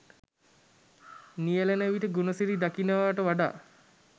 නියැලෙන විට ගුණසිරි දකිනවා ට වඩා